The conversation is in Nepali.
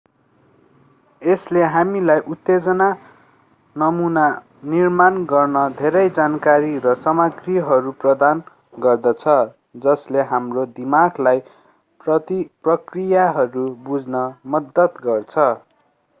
यसले हामीलाई उत्तेजना नमूना निर्माण गर्न धेरै जानकारी र सामग्रीहरू प्रदान गर्दछ जसले हाम्रो दिमागलाई प्रक्रियाहरू बुझ्न मद्दत गर्दछ